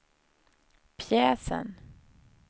pjäsen